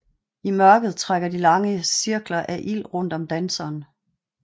I mørket trækker de lange cirkler af ild rundt om danseren